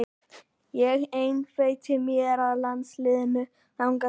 Ég einbeiti mér að landsliðinu þangað til.